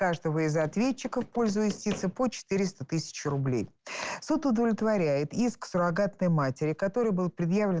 каждого из ответчиков в пользу истицы по четыреста тысяч рублей суд удовлетворяет иск суррогатной матери которой был предъявлен